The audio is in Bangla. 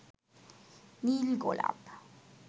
নীল গোলাপ